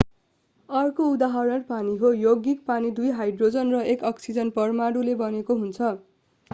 अर्को उदाहरण पानी हो यौगिक पानी दुई हाइड्रोजन र एक अक्सिजन परमाणु मिलेर बनेको छ